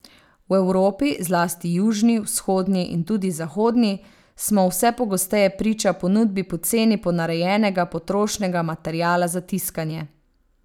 V Evropi, zlasti južni, vzhodni in tudi zahodni, smo vse pogosteje priča ponudbi poceni ponarejenega potrošnega materiala za tiskanje.